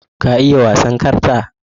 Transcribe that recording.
Ka iya wasan karta?